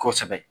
Kosɛbɛ